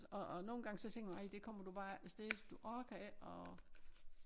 Og og nogle gange så tænker man ej du kommer bare ikke afsted for du orker ikke at